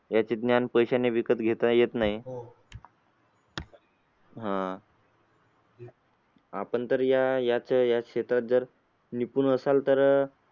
याचे ज्ञान पैशाने विकत घेता येत नाही आह आपण तर याच याच क्षेत्रात असाल तर